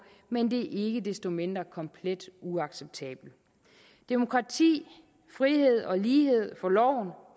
men de er ikke desto mindre komplet uacceptable demokrati frihed og lighed for loven